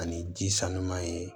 Ani ji sanuman ye